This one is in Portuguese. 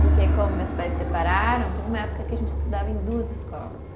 Porque como meus pais separaram, teve uma época que a gente estudava em duas escolas.